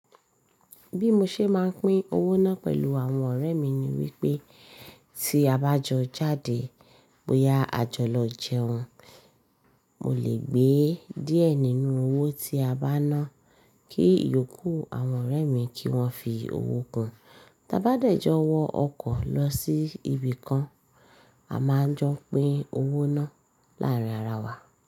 Bí mo ṣe máa ń pín owó náà pẹ̀lú àwọn ọ̀rẹ́ mi ni wípé tí a bá jọ jáde bóyá àjọlọ jẹun, mo lè gbé díẹ̀ nínú owó tí a bá ná kí iyòókù àwọn ọ̀rẹ́ mi kí wón fi owó kún. Tá bá dẹ̀jọ wọ ọkọ̀ lọ sí ibìkan, a máa n jọ pín owó náà láàárín ara wa.